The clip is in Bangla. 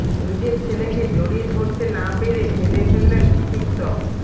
নিজের ছেলেকে জড়িয়ে ধরতে না পেরে কেঁদে ফেললেন চিকিত্সক